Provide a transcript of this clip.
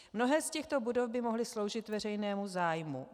Mnohé z těchto budov by mohly sloužit veřejnému zájmu.